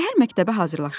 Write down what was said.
Səhər məktəbə hazırlaşırdım.